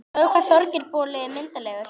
Sjáðu hvað Þorgeir boli er myndarlegur